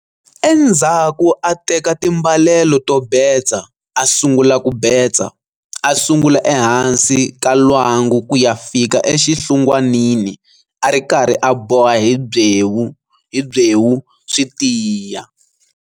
Endzhaku a teka timbalelo to betsa a sungula ku betsa, a sungula ehansi ka lwangu ku ya fika exinhlungwanini a ri karhi a boha hi byewu swi tiya.